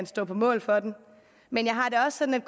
stod på mål for den men jeg har det også sådan